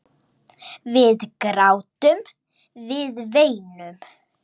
Við grátum, við veinum.